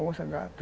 Onça, gato.